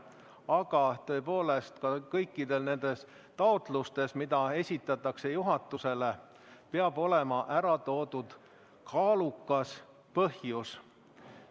Aga tõepoolest kõikides nendes taotlustes, mida juhatusele esitatakse, peab olema ära toodud kaalukas põhjus.